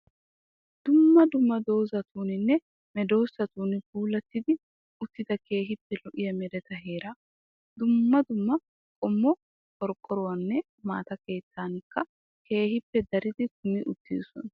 Dumma dumma doozatuninne meedoosatun puulatti uttida keehippe lo'iyaa mereta heeraa. Dumma dumma qommo qorqqoronne maata keettatikka keehippe daridi kumi uttosaa.